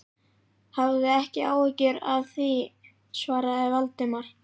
Hafðu ekki áhyggjur af því- svaraði Valdimar.